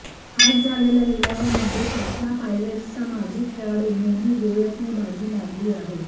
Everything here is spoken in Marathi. आज झालेल्या लिलावामध्ये पाटणा पायरेट्सचा माजी खेळाडू मोनू गोयतने बाजी मारली आहे